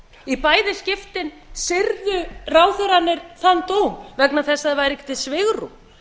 í bæði skiptin syrgðu ráðherrarnir þann dóm vegna þess að það væri ekki til svigrúm